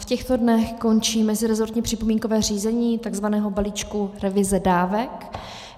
V těchto dnech končí mezirezortní připomínkové řízení tzv. balíčku revize dávek.